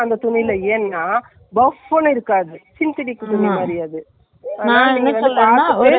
சாதா top முக்கா கை வச்சி சாதா top .அந்த blue color ல online ல நான் ஒரு top வாங்குன தெரியுமா .